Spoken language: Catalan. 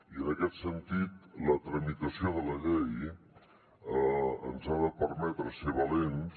i en aquest sentit la tramitació de la llei ens ha de permetre ser valents